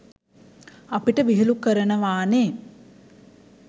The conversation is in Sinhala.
අපිට විහිළු කරනවානේ.